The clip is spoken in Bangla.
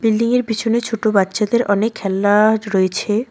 বিল্ডিং -য়ের পিছনে ছোটো বাচ্চাদের অনেক খেলনা রয়েছে।